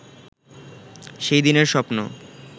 সেই দিনের স্বপ্ন